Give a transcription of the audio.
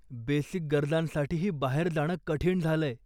Basic गरजांसाठीही बाहेर जाणं कठीण झालंय.